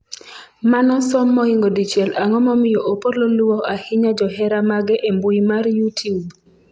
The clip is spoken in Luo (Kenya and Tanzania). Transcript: manosom moingo dichiel ang'o momiyo Opollo luwo ahinya johera mage e mbui mar youtube?